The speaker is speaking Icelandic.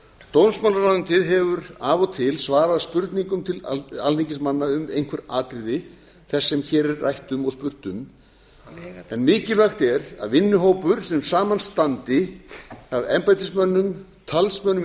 dómsmálaráðuneytið hefur af og til svarað spurningum alþingismanna um einhver atriði þess sem hér er rætt um og spurt um en mikilvægt er að vinnuhópur sem saman standi af embættismönnum talsmönnum í